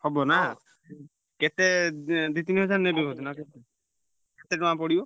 ହବ ନା କେତେ ଉଁ ଦି ତିନି ହଜାର ନେବେ ବୋଧେ ନା କଣ କେତେ ଟଙ୍କା ପଡିବ?